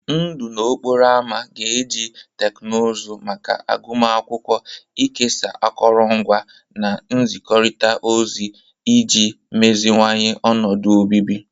Ndụ n'okporo ámá ga-eji teknụzụ maka agụmakwụkwọ, ikesa akụrụngwa, na nzikọrịta ozi iji meziwanye ọnọdụ obibi.